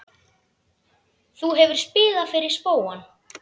Þú hefur spilað fyrir spóann?